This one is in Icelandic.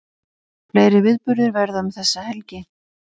Fleiri viðburðir verða um þessa helgi